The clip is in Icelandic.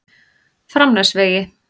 Framnesvegi